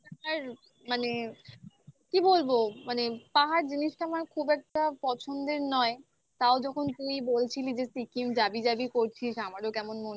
আর মানে কি বলবো মানে পাহাড় জিনিসটা আমার খুব একটা পছন্দের নয় তাও যখন তুই বলছিলি যে সিকিম জাবি জাবি করছিস আমারও কেমন মনটায়